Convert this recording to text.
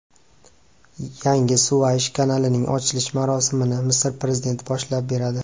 Yangi Suvaysh kanalining ochilish marosimini Misr prezidenti boshlab beradi.